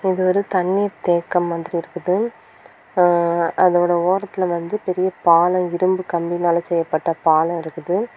இது ஒரு தண்ணீர் தேக்கம் மாதிரி இருக்குது அ அதோட ஓரத்துல வந்து பெரிய பாலம் இரும்பு கம்பியினால செய்யப்பட்ட பாலம் இருக்குது.